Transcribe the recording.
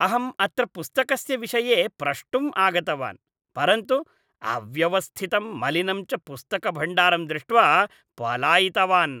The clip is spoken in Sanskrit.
अहं अत्र पुस्तकस्य विषये प्रष्टुम् आगतवान्, परन्तु अव्यवस्थितं मलिनं च पुस्तकभण्डारं दृष्ट्वा पलायितवान्।